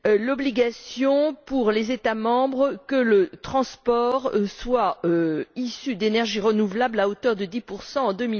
l'obligation, pour les États membres, que le transport soit issu d'énergies renouvelables à hauteur de 10 en